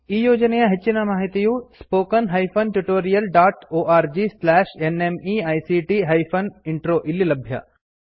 ಈ ಯೋಜನೆಯ ಹೆಚ್ಚಿನ ಮಾಹಿತಿಯು spoken hyphen tutorial dot org slash nmeict hyphen intro ದಲ್ಲಿ ಲಭ್ಯ